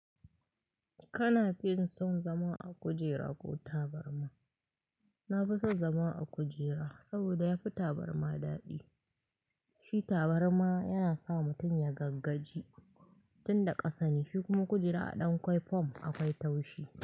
Kana fin son zama a kujera ko tabarma? Na fi son zama a kujera, saboda yafi tabarma daɗi. Shi tabarma yana sa mutum ya gaggaji tunda ƙasa ne, shi kuma kujera a ɗankwai fom akwai taushi.